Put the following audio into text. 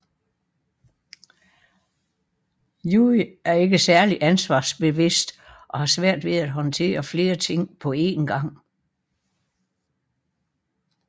Yui er ikke særlig ansvarsbevidst og har svært ved at håndtere flere ting på en gang